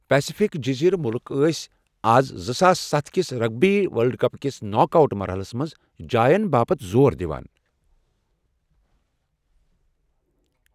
Pacific جٔزیٖرٕ مُلٕک ٲسۍ آز زٕ ساس ستھ کس رگبی ورلڈ کپ کِس ناک آوٹ مرحلَس منٛز جاین باپتھ زور دِوان۔